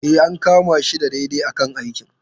E, an kama shi daidai a kan aikin.